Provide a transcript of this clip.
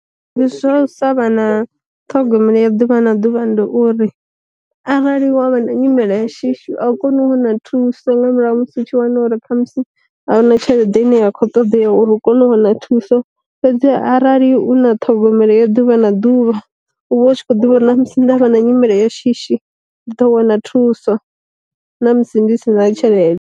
Ndi zwa u sa vha na ṱhogomelo ya ḓuvha na ḓuvha ndi uri, arali havha na nyimele ya shishi a u koni u wana thuso nga murahu ha musi u tshi wana uri kha musi a huna tshelede ine ya kho ṱoḓea uri u kone u wana thuso, fhedzi ha arali u na ṱhogomelo yo ḓuvha na ḓuvha uvha u tshi kho ḓivha uri ndavha na nyimele ya shishi ndi ḓo wana thuso na musi ndi si na tshelede.